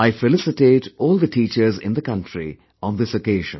I felicitate all the teachers in the country on this occasion